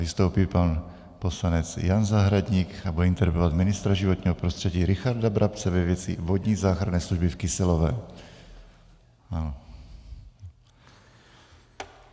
Vystoupí pan poslanec Jan Zahradník a bude interpelovat ministra životního prostředí Richarda Brabce ve věci Vodní záchranné služby v Kyselově.